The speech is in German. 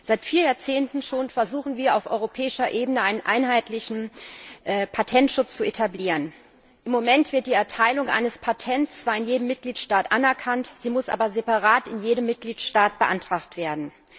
Seit vier Jahrzehnten schon versuchen wir auf europäischer Ebene, einen einheitlichen Patentschutz zu etablieren. Im Moment wird die Erteilung eines Patents zwar in jedem Mitgliedstaat anerkannt, sie muss aber separat in jedem Mitgliedstaat beantragt werden.